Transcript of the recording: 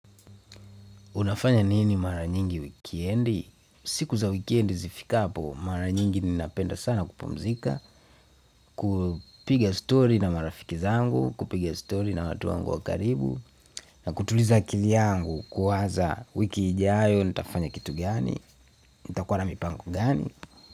Unafanya nini mara nyingi wikendi? Siku za wikendi zifikapo mara nyingi napenda sana kupumzika kupiga story na marafiki zangu kupiga story na watu wangu wa karibu na kutuliza akili yangu kuwaza wiki ijayo nitafanya kitu gani nitakuwa na mipango gani.